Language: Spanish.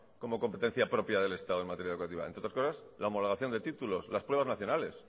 como competencia propia del estado en materia educativas entre otras cosas la homologación de títulos las pruebas nacionales